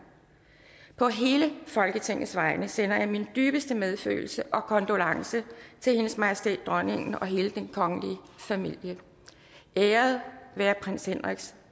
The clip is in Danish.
på hele folketingets vegne sender jeg min dybeste medfølelse og kondolence til hendes majestæt dronningen og hele den kongelige familie æret være prins henriks